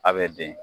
A bɛ den